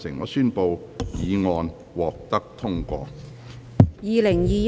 我宣布議案獲得通過。